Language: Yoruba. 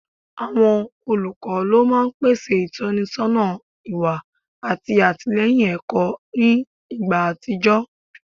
Awọn olukọ lo maa n pese itọnisọna iwa ati atilẹyin ẹkọ ni igba atijọ